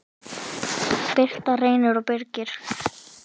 Birna, Reynir og Birgir.